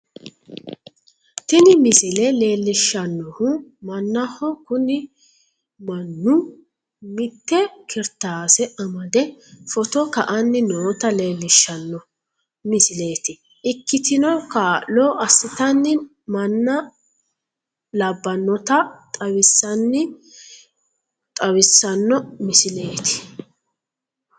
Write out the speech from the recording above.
Tini misile leellishshannohu mannaho kuni mannu mitte kiritaase amadde footo ka'anni noota leellishshano misileeti ikkitino kaa'lo assitanno manna labbannota xawissanno misileeti.